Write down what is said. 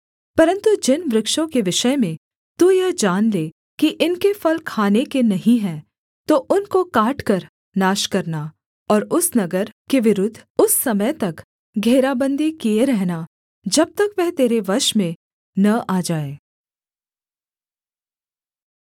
परन्तु जिन वृक्षों के विषय में तू यह जान ले कि इनके फल खाने के नहीं हैं तो उनको काटकर नाश करना और उस नगर के विरुद्ध उस समय तक घेराबन्दी किए रहना जब तक वह तेरे वश में न आ जाए